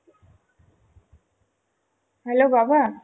hello বাবা